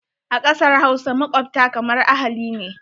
A ƙasar Hausa, makwabta kamar ahali ne.